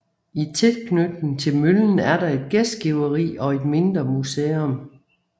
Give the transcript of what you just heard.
I tilknytning til møllen er der et gæstgiveri og et mindre museum